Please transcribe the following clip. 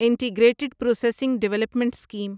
integrated processing development scheme